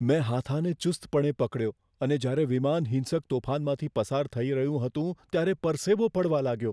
મેં હાથાને ચુસ્તપણે પકડ્યો અને જ્યારે વિમાન હિંસક તોફાનમાંથી પસાર થઈ રહ્યું હતું, ત્યારે પરસેવો પડવા લાગ્યો.